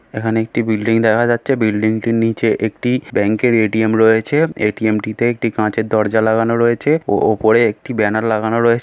এখানে একটি বিল্ডিং দেখা যাচ্ছে। বিল্ডিংটির নিচে একটি ব্যাংকের এ.টি.এম. রয়েছে। এ.টি.এম. টিতে একটি কাঁচের দরজা লাগানো রয়েছে। ও ও ওপরে একটি ব্যানার লাগানো রয়ে--